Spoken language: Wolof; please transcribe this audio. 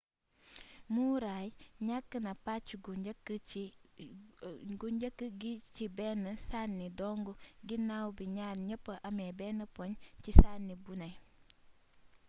murray ñakk na pacc gu njëkk gi ci benn sanni dong ginnaw bi ñaar ñepp amé benn poñ ci sanni buné